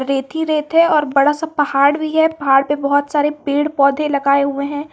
रेत ही रेत है और बड़ा सा पहाड़ भी है पहाड़ पर बहुत सारे पेड़ पौधे लगाए हुए हैं।